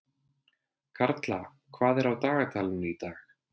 Karla, hvað er á dagatalinu í dag?